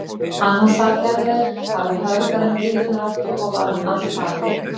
Annan sal gerðu þeir, það var hörgur en gyðjurnar áttu, og var hann allfagur.